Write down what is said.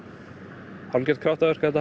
algjört kraftaverk þetta